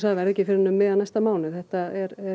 það verði ekki fyrr en um miðjan næsta mánuð þetta